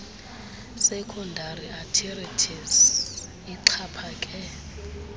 secondary arthritis ixhaphake